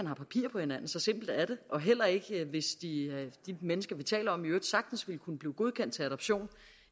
har papir på hinanden så simpelt er det og heller ikke hvis de mennesker vi taler om i øvrigt sagtens ville kunne blive godkendt til adoption